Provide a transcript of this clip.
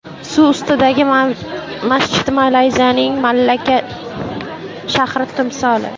Suv ustidagi masjid Malayziyaning Malakka shahri timsoli .